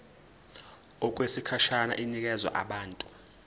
okwesikhashana inikezwa abantu